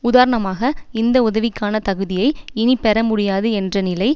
உதாரணமாக இந்த உதவிக்கான தகுதியை இனி பெற முடியாது என்ற நிலை